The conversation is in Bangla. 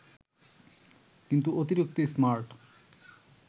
কিন্তু অতিরিক্ত স্মার্ট